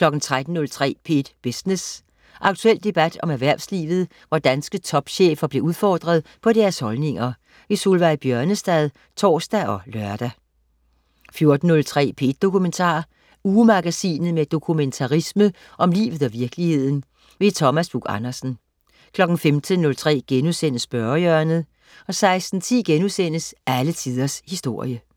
13.03 P1 Business. Aktuel debat om erhvervslivet, hvor danske topchefer bliver udfordret på deres holdninger. Solveig Bjørnestad (tors og lør) 14.03 P1 Dokumentar. Ugemagasinet med dokumentarisme om livet og virkeligheden. Thomas Buch-Andersen 15.03 Spørgehjørnet* 16.10 Alle Tiders Historie*